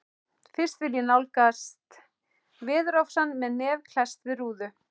Fyrst vil ég nálgast veðurofsann með nef klesst við rúðu.